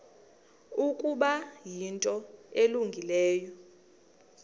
ukuba yinto elungileyo